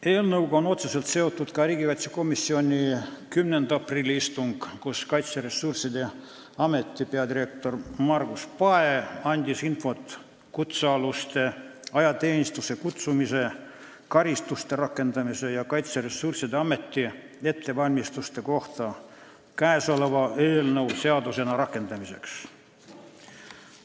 Eelnõuga oli otseselt seotud ka riigikaitsekomisjoni 10. aprilli istung, kus Kaitseressursside Ameti peadirektor Margus Pae andis infot kutsealuste ajateenistusse kutsumise, karistuste rakendamise ja Kaitseressursside Ameti ettevalmistuste kohta käesoleva eelnõu seadusena rakendamiseks.